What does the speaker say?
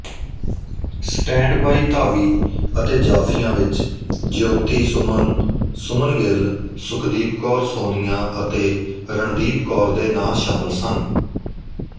standby ਧਾਵੀ ਅਤੇ ਜਾਫੀਆਂ ਵਿੱਚ ਜਿਓਤੀਸੁਮਨਸੁਮਨ ਗਿੱਲਸੁਖਦੀਪ ਕੌਰਸੋਨੀਆਂਅਤੇ ਰਣਦੀਪ ਕੌਰ ਦੇ ਨਾਂਅ ਸ਼ਾਮਲ ਸਨ